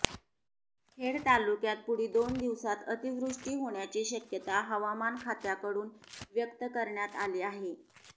खेड तालुक्यात पुढी दोन दिवसात अतिवृष्टी होण्याची शक्यता हवामान खात्याकडून व्यक्त करण्यात आली आहे